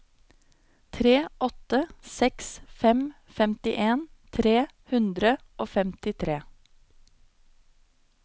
tre åtte seks fem femtien tre hundre og femtitre